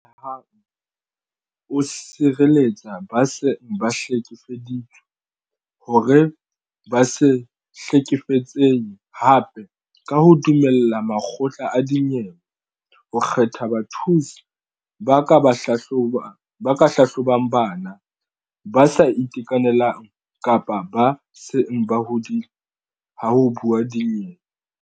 Ame hang o sireletsa ba seng ba hlekefeditswe hore ba se hlekefetsehe hape ka ho dumella makgotla a dinyewe ho kgetha bathusi ba ka hlahlobang bana, ba sa itekanelang kapa ba seng ba hodile ha ho buuwa dinyewe.